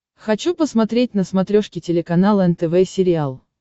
хочу посмотреть на смотрешке телеканал нтв сериал